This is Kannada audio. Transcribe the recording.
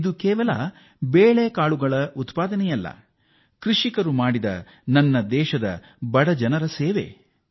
ಇದು ಕೇವಲ ಬೇಳೆಕಾಳುಗಳ ಉತ್ಪಾದನೆ ಮಾತ್ರವೇ ಅಲ್ಲ ದೇಶದ ಬಡ ಜನರಿಗೆ ಅವರು ಮಾಡಿರುವ ಒಕ್ಕಲು ಸೇವೆ